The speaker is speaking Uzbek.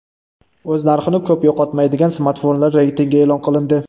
O‘z narxini ko‘p yo‘qotmaydigan smartfonlar reytingi e’lon qilindi.